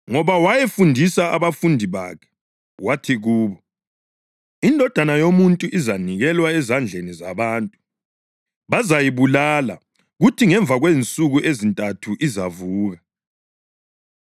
ngoba wayefundisa abafundi bakhe. Wathi kubo, “INdodana yoMuntu izanikelwa ezandleni zabantu. Bazayibulala, kuthi ngemva kwensuku ezintathu izavuka.”